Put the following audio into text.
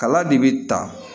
Kala de bi ta